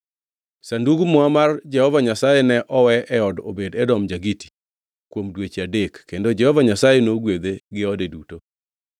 Sandug Muma mar Jehova Nyasaye ne owe e od Obed-Edom ja-Giti kuom dweche adek, kendo Jehova Nyasaye nogwedhe gi ode duto.